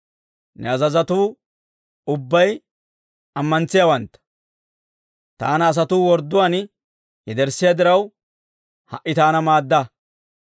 Ne azazotuu ubbay ammantsiyaawantta. Taana asatuu wordduwaan yederssiyaa diraw, ha"i taana maadda!